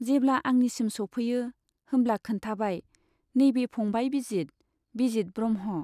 जेब्ला आंनिसिम सौफैयो होमब्ला खोन्थाबाय, नैबे फंबाय बिजित, बिजित ब्रह्म।